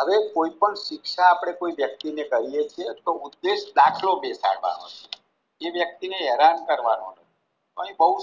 હવે કોઈ પણ શિક્ષા આપણે કોઈ વ્યક્તિને કરીએ છીએ તો ઉદેશ દાખલો બેસાડવાનો છે એ વ્યક્તિ ને હેરાન કરવાનો અહીં બોવ